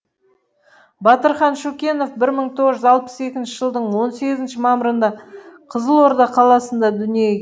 батырхан шүкенов бір мың тоғыз жүз алпыс екінші жылдың он сегізінші мамырында қызылорда қаласында дүниеге